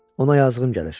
Ona yazdığım gəlir, dedi.